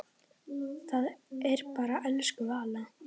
Það er bara elsku Vala.